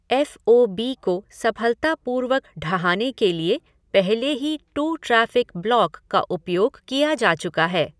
F O B को सफलतापूर्वक ढहाने के लिए पहले ही टू ट्रैफ़िक ब्लॉक का उपयोग किया जा चुका है।